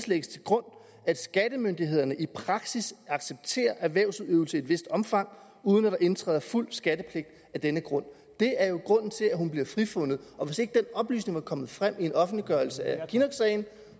lægges til grund at skattemyndighederne i praksis accepterer erhvervsudøvelse i et vist omfang uden at der indtræder fuld skattepligt af denne grund det er jo grunden til at hun bliver frifundet og hvis ikke den oplysning var kommet frem i en offentliggørelse af kinnocksagen